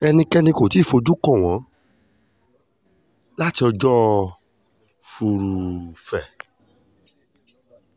ẹnikẹ́ni kò tí ì fojú kàn wọ́n láti ọjọ́ furuufé